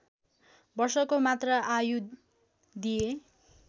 वर्षको मात्र आयु दिए